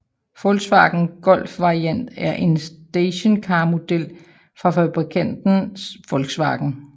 Volkswagen Golf Variant er en stationcarmodel fra bilfabrikanten Volkswagen